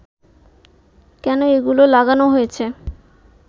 কেন এগুলো লাগানো হয়েছে